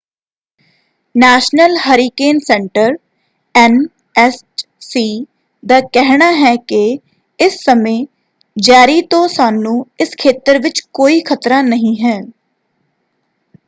National Hurricane Center NHC. ਦਾ ਕਹਿਣਾ ਹੈ ਕਿ ਇਸ ਸਮੇਂ ਜੈਰੀ ਤੋਂ ਸਾਨੂੰ ਇਸ ਖੇਤਰ ਵਿੱਚ ਕੋਈ ਖਤਰਾ ਨਹੀਂ ਹੈ।